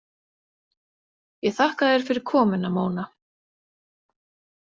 Ég þakka þér fyrir komuna, Móna.